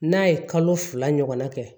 N'a ye kalo fila ɲɔgɔnna kɛ